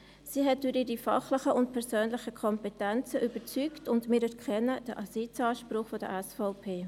Sie hat durch ihre fachlichen und persönlichen Kompetenzen überzeugt, und wir erkennen den Sitzanspruch der SVP.